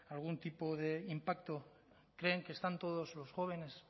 algún tipo de impacto creen que están todos los jóvenes